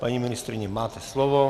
Paní ministryně, máte slovo.